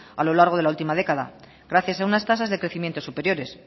a lo largo de la última década gracias a unas tasas de crecimiento superiores